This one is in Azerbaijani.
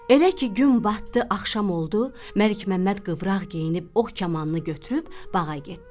Elə ki gün batdı, axşam oldu, Məlikməmməd qıvraq geyinib ox kamanını götürüb bağa getdi.